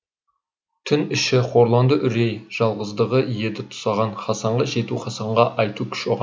түн іші хорланды үрей жалғыздығы еді тұсаған хасанға жету хасанға айту күш оған